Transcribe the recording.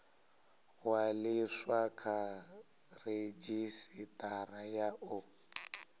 ṅwaliswa kha redzhisitara ya u